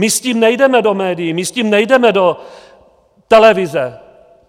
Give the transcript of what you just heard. My s tím nejdeme do médií, my s tím nejdeme do televize.